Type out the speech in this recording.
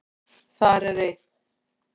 Þar er einn